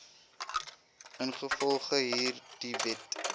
ingevolge hierdie wet